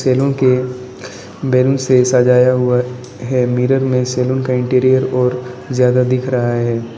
के बैलून से सजाया हुआ है मिरर में सैलून का इंटीरियर और जादा दिख रहा है।